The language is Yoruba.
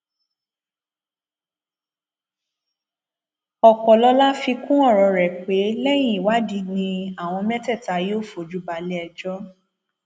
ọpọlọlá fi kún ọrọ rẹ pé lẹyìn ìwádìí ni àwọn mẹtẹẹta yóò fojú balẹẹjọ